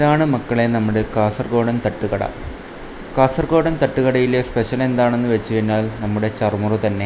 ഇതാണ് മക്കളെ നമ്മടെ കാസർഗോഡൻ തട്ടുകട കാസർഗോഡൻ തട്ടുകടയിലെ സ്പെഷ്യൽ എന്താണെന്നു വെച്ചുകഴിഞ്ഞാൽ നമ്മടെ ചറുമുറു തന്നെ.